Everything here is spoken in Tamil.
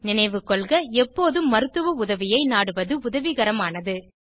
நினைவுகொள்க எப்போது மருத்துவ உதவியை நாடுவது உதவிகரமானது